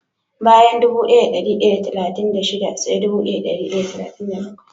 Bayan dubu daya da dari daya da talatin da shida sai dubu daya da dari daya da talatin da bakwai